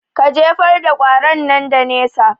Ka jefar da ƙwaron nan da nesa